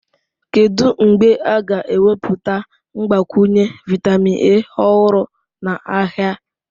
Kedu mgbe a ga-ewepụta mgbakwunye vitamin A ọhụrụ n'ahịa?